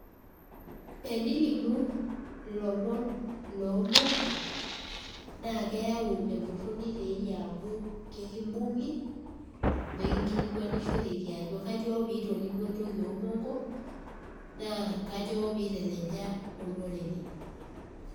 Enilimu ilomon lomongo, na keeu entorroni teeyie amu kekibung'i, nekinkilikwanishorekiajo kanyioo pitolimuo entoki omongo, naa kanyioo piteleja olorere.